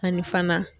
Ani fana